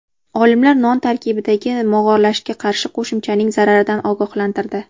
Olimlar non tarkibidagi mog‘orlashga qarshi qo‘shimchaning zararidan ogohlantirdi.